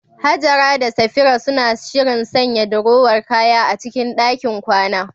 Hajara da Safira suna shirin sanya dirowar kaya a cikin ɗakin kwana.